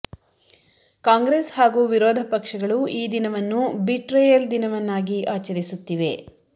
ಕಾಂಗ್ರೆಸ್ ಹಾಗೂ ವಿರೋಧ ಪಕ್ಷಗಳು ಈ ದಿನವನ್ನು ಬಿಟ್ರೇಯಲ್ ದಿನವನ್ನಾಗಿ ಆಚರಿಸುತ್ತಿವೆ